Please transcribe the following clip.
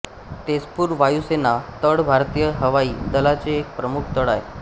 तेझपूर वायुसेना तळ भारतीय हवाई दलाचा एक प्रमुख तळ आहे